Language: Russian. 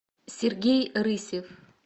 сергей рысев